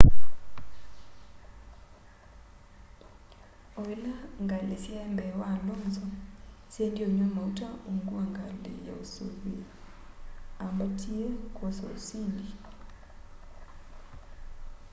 o ila ngali syai mbee wa alonso syaendie unywa mauta ungu wa ngali ya usuvîi aambatie kwosa usindi